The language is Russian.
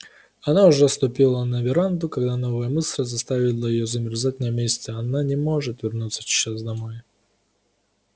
она уже ступила на веранду когда новая мысль заставила её замерзать на месте она не может вернуться сейчас домой